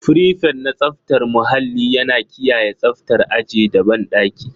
Frifet na tsaftar muhalli yana kiyaye tsaftar aji da banɗaki.